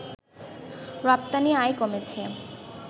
রপ্তানি আয় কমেছে